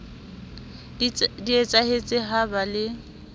di etsahetse ha ba le